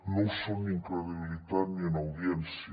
no ho són ni en credibilitat ni en audiència